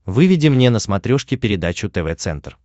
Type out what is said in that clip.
выведи мне на смотрешке передачу тв центр